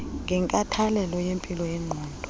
wenkathalelo yempilo yengqondo